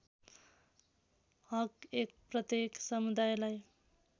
हक १ प्रत्येक समुदायलाई